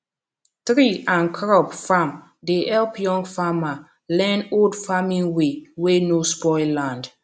tree and crop farm dey help young farmer learn old farming way wey no spoil land